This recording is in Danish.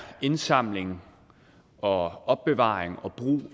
indsamling og opbevaring og brug